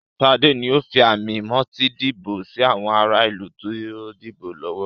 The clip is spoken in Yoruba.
Sade ńi o fi àmì-moti dìbò sì àwọn ará ìlú tó ti dìbò lọ́wọ́.